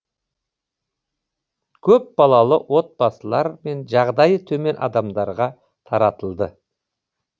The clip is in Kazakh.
көпбалалы отбасылар мен жағдайы төмен адамдарға таратылды